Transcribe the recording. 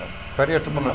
hverja ertu búinn að